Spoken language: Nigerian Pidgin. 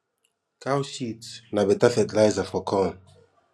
cow shit na beta fertilizer for corn